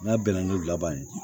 N'a bɛnna n'u laban ye